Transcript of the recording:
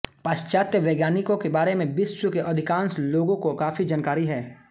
पाश्चात्य वैज्ञानिकों के बारे मे विश्व के अधिकाँश लोगों को काफी जानकारी है